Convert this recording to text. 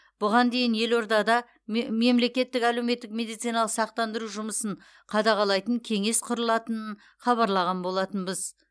бұған дейін елордада ме мемлекеттік әлеуметтік медициналық сақтандыру жұмысын қадағалайтын кеңес құрылатынын хабарлаған болатынбыз